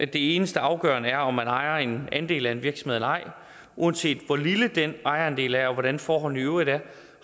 det eneste afgørende er om man ejer en andel af en virksomhed eller ej uanset hvor lille den ejerandel af og hvordan forholdene i øvrigt er